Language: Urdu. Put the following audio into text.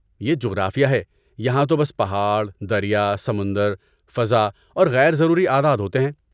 یہ جغرافیہ ہے! یہاں تو بس پہاڑ، دریا، سمندر، فضا اور غیر ضروری اعداد ہوتے ہیں۔